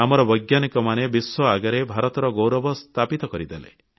ଆମର ବୈଜ୍ଞାନିକମାନେ ବିଶ୍ୱ ଆଗରେ ଭାରତର ଗୌରବ ସ୍ଥାପିତ କରିଦେଲେ